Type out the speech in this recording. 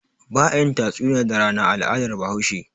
Ba a yin tatsuniya da rana a al'adar Bahaushe.